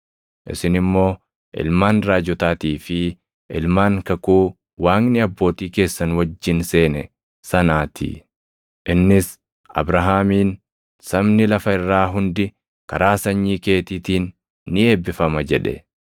Isin immoo ilmaan raajotaatii fi ilmaan kakuu Waaqni abbootii keessan wajjin seene sanaa ti. Innis Abrahaamiin, ‘Sabni lafa irraa hundi karaa sanyii keetiitiin ni eebbifama’ + 3:25 \+xt Uma 22:18; 26:4\+xt* jedhe.